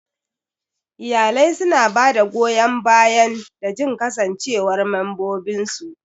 Iyalai suna ba da goyan bayan da jin kasancewar mambobinsu.